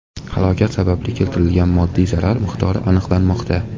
Halokat sababli keltirilgan moddiy zarar miqdori aniqlanmoqda.